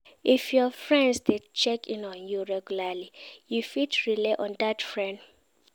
If your friends de check in on you regularly you fit rely on dat friend